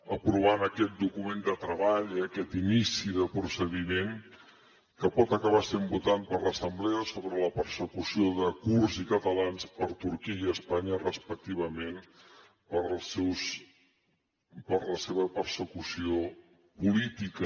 aprovant aquest document de treball eh aquest inici de procediment que pot acabar sent votat per l’assemblea sobre la persecució de kurds i catalans per turquia i espanya respectivament per la seva persecució política